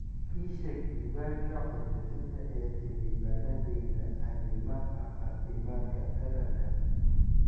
ii sheeg diiwaanka codbixinta ee xildhibaanadeyda arrimaha caafimaadka taranka